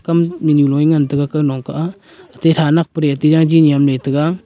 kam nu lui ngan tega ga nong kah ethe tha nak tega.